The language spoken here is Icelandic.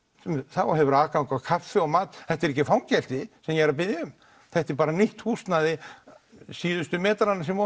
þá hefurðu aðgang að kaffi og mat þetta er ekki fangelsi sem ég er að biðja um þetta er bara mitt húsnæði síðustu metrana sem